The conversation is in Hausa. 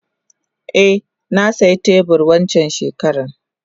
Eh nasiya teburi wancan shekaran.